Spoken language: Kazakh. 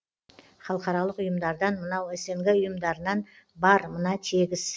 халықаралық ұйымдардан мынау снг ұйымдарынан бар мына тегіс